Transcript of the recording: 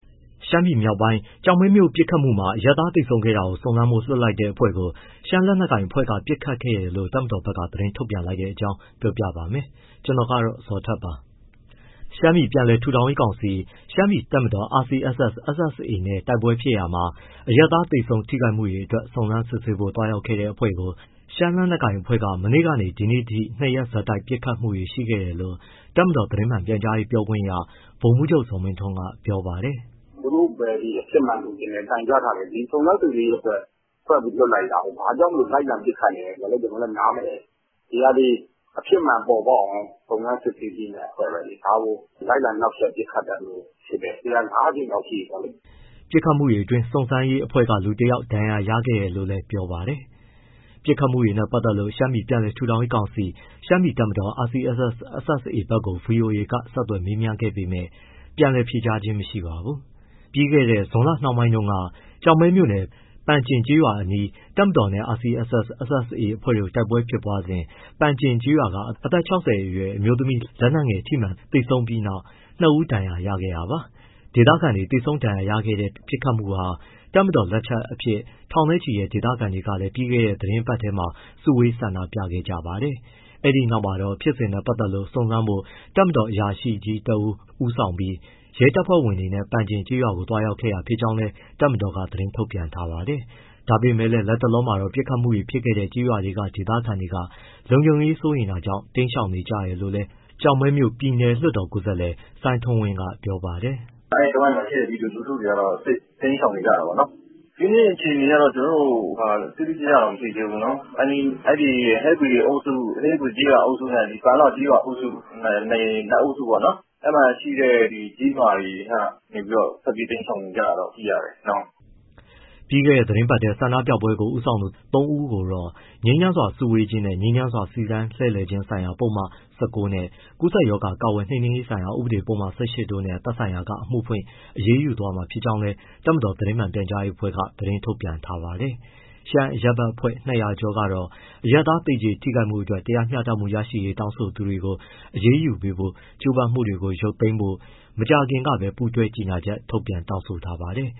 ရှမ်းပြည်မြောက်ပိုင်း ကျောက်မဲမြို့ပစ်ခတ်မှုမှာ အရပ်သားသေဆုံးခဲ့တာကို စုံစမ်းဖို့လွှတ်လိုက်တဲ့အဖွဲ့ကို ရှမ်းလက်နက်ကိုင် အဖွဲ့က ပစ်ခတ်ခဲ့တယ်လို့ တပ်မတော်က သတင်းထုတ်ပြန်လိုက်တဲ့အကြောင်းကို ဗွီအိုအေမြန်မာပိုင်းသတင်းထောက် ကိုဇော်ထက်က ပြောပြပါမယ်။ ရှမ်းပြည်ပြန်လည်ထူထောင်ရေးကောင်စီ၊ ရှမ်းပြည်တပ်မတော် RCSS/ SSA နဲ့ တိုက်ပွဲဖြစ်ရာမှာ အရပ်သားသေဆုံး ထိခိုက်မှုတွေအတွက် စုံစမ်းစစ်ဆေးဖို့ သွားရောက်တဲ့အဖွဲ့ကို ရှမ်းလက်နက်ကိုင်အဖွဲ့က မနေ့ကနဲ့ ဒီကနေ့ ၂ ရက် ဆက်တိုက် ပစ်ခတ်မှုတွေ ရှိခဲ့တယ်လို့ တပ်မတော် သတင်းမှန် ပြန်ကြားရေးပြောခွင့်ရ ဗိုလ်မှူးချုပ် ဇော်မင်းထွန်းကပြောပါတယ်။ “သူတို့ပဲ အဖြစ်မှန်လိုချင်တယ်၊ တိုင်ကြားထားတယ်၊ ဒီစုံစမ်းစစ်ဆေးရေးအဖွဲ့ ဖွဲ့ပြီးလွှတ်လိုက်တာကို ဘာကြောင့်လိုက်လံပစ်ခတ်နေလဲဆိုတာ ကျနော်လည်း နားမလည်ဘူး။ ဒီဟာသည် အဖြစ်မှန်ပေါ်ပေါက်အောင် စုံစမ်းစစ်ဆေးမယ့်အဖွဲ့ပဲလေ၊ ဒါကိုလိုက်လံနှောက်ယှက်ပစ်ခတ်တာမျိုးဖြစ်တယ်၊ ဒီဟာ ၅ ကြိမ်မြောက်ဖြစ်တယ်။” ပစ်ခတ်မှုအတွင်း စုံစမ်းရေးအဖွဲ့က လူ တစ် ယောက် ဒဏ်ရာရခဲ့တယ်လို့လည်း ပြောပါတယ်။ ပစ်ခတ်မှုနဲ့ ပတ်သက်လို့ ရှမ်းပြည်ပြန်လည်ထူထောင်ရေးကောင်စီ၊ ရှမ်းပြည်တပ်မတော် RCSS/ SSA ဘက်ကို ဗွီအိုအေက ဆက်သွယ်မေးမြန်းခဲ့ပေမဲ့ ပြန်လည်ဖြေကြားခဲ့ခြင်းမရှိပါဘူး။ ပြီးခဲ့တဲ့ ဇွန်လနှောင်းပိုင်းတုန်းက ကျောက်မဲမြို့နယ်၊ ပန်ကျင်ကျေးရွာအနီး တပ်မတော်နဲ့ RCSS/SSA အဖွဲ့တို့ တိုက်ပွဲဖြစ်ပွားစဉ် ပန်ကျင်ကျေးရွာက အသက် ၆၀ အရွယ် အမျိုးသား လက်နက်ငယ်ထိမှန်သေဆုံးပြီး နောက် နှစ် ဦး ဒဏ်ရာရခဲ့တာပါ။ ဒေသခံတွေ သေဆုံးဒဏ်ရာရခဲ့တဲ့ ပစ်ခတ်မှုဟာ တပ်မတော် လက်ချက်အဖြစ် ထောင်နဲ့ချီတဲ့ ဒေသခံတွေလည်း ပြီးခဲ့တဲ့ သီတင်းပတ်ထဲမှာပဲ စုဝေးဆန္ဒပြခဲ့ကြပါတယ်။ ဒီနောက်မှာတော့ ဖြစ်စဉ်နဲ့ ပတ်သက်လို့ စုံစမ်းဖို့ တပ်မတော်အရာရှိကြီး တစ် ဦး ဦးဆောင်ပြီး ရဲတပ်ဖွဲ့ဝင်တွေနဲ့ ပန်ကျင်ကျေးရွာကို သွားရောက်ခဲ့တာ ဖြစ်ကြောင်းလည်း တပ်မတော်က သတင်းထုတ်ပြန်ထားပါတယ်။ ဒါပေမဲ့လည်း လတ်တလောမှာတော့ ပစ်ခတ်မှုတွေဖြစ်ခဲ့တဲ့ ကျေးရွာတွေက ဒေသခံတွေက လုံခြုံရေး စိုးရိမ်တာကြောင့် တိမ်းရှောင်နေကြတယ်လို့ ကျောက်မဲမြို့ ပြည်နယ်လွှတ်တော်ကိုယ်စားလှယ် စိုင်းထွန်းဝင်းက ပြောပါတယ်။ “အဲဒီတဝိုက်မှာရှိတဲ့ ပြည်သူလူထုတွေကတော့ တိမ်းရှောင်နေကြတာပေါ့နော်။ ဒီနေ့အခြေအနေကတော့ ကျနော်တို့ တိတိကျကျ မသိသေးဘူးနော်၊ အဲဒီ ဟဲဘွီအုပ်စုနဲ့ ပန်လှကျေးရွာအုပ်စု နှစ်အုပ်စုပေါ့ အဲဒီထဲကကျေးရွာတွေ ထွက်ပြေးတိမ်းရှောင်နေကြတာလို့ သိရတယ်။” ပြီးခဲ့တဲ့ သီတင်းပတ်ထဲက ဆန္ဒပြပွဲကို ဦးဆောင်သူ သုံး ဦးကိုတော့ ငြိမ်းချမ်းစွာ စုဝေးခြင်းနဲ့ ငြိမ်းချမ်းစွာ စီတန်းလှည့်လည်ခြင်းဆိုင်ရာ ပုဒ်မ ၁၉ နဲ့ ကူးစက်ရောဂါ ကာကွယ်နှိမ်နင်းရေးဆိုင်ရာ ဥပဒေပုဒ်မ ၁၈ တို့နဲ့ သက်ဆိုင်ရာက အမှုဖွင့်အရေးယူသွားမှာဖြစ်ကြောင်းလည်း တပ်မတော် သတင်းမှန် ပြန်ကြားရေးအဖွဲ့က သတင်းထုတ်ပြန်ထားပါတယ်။ ရှမ်းအရပ်ဘက်အဖွဲ့ ၂၀၀ ကျော်ကတော့ အရပ်သားတွေ သေကျေထိခိုက်မှုတွေအတွက် တရားမျှတမှု ရရှိရေးတောင်းဆိုသူတွေကို အရေးယူဖို့ ကြိုးပမ်းမှုတွေကို ရုပ်သိမ်းဖို့ မကြာသေးခင်ကပဲ ပူးတွဲကြေညာချက်ထုတ်ပြန် တောင်းဆိုထားပါတယ်